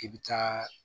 I bɛ taa